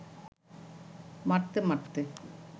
মারতে মারতে